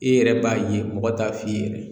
E yɛrɛ b'a ye mɔgɔ t'a f'i ye yɛrɛ